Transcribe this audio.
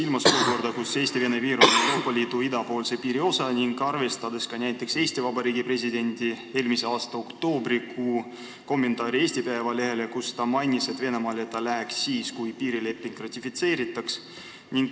Ma pean silmas tõsiasja, et Eesti-Vene piir on Euroopa Liidu idapiiri osa ning ka Eesti Vabariigi presidendi eelmise aasta oktoobrikuus antud kommentaari Eesti Päevalehele, kus ta mainis, et ta läheks Venemaale siis, kui piirileping ratifitseeritaks.